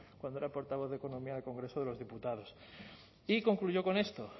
cuando era portavoz de economía en el congreso de los diputados y concluyó con esto